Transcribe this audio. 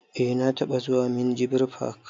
Eh na taɓa zuwa minjibir fak